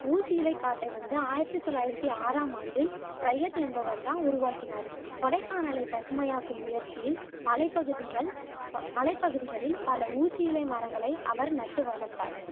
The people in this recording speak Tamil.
ஊசியிலைக்காட்டை வந்துஆயிரத்தி தொள்ளாயிரத்தி ஆறாம் ஆண்டு ப்ரயத் என்பவர் தான் உருவாக்கினாரு கொடைக்கானலை பசுமையாக்கும் முயற்சியில் மலைப்பகுதிகள் ப மலைப்பகுதிகளில் பல ஊசியிலை மரங்களை அவர் நட்டு வளர்த்தார்